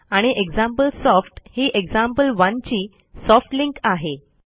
आणि एक्झाम्पलसॉफ्ट ही एक्झाम्पल1 ची सॉफ्ट लिंक आहे